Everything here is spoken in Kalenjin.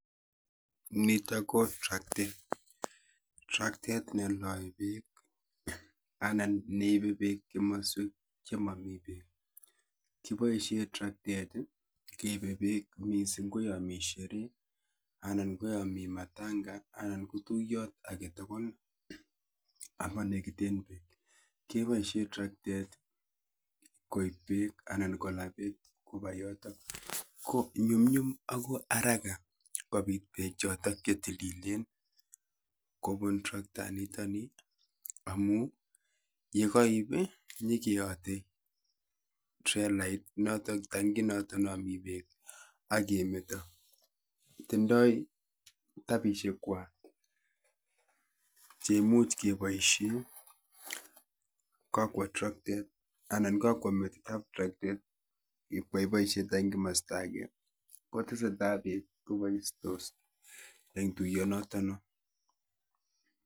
Nitok ko traktet, traktet below beek anan neibe beek komoswek chemomii beek, cheboishen traktet keibe beek mising ko yoonii sheree anan ko yoon mii matanga anan ko yuton aketukul amanekiten beek keboishen traktet koib beek alan kolaa beek kobaa yotok, ko nyumnyum ak ko araka kobiit beek chotok chetililen kobun traktaniton, amun yekoib inyokeyote trelait notok tanki noton nomii beek ak kemeto, tindoi tabishekwai cheimuch keboishen kokwoo traktet anan kokwo metitab traktet iib iboshen takit en komosto akee, koteseta beek koboistos eng' tuyonoton non.